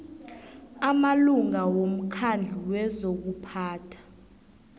amalunga womkhandlu wezokuphatha